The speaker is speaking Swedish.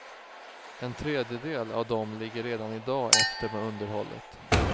En tredjedel av dem ligger redan i dag efter med underhållet.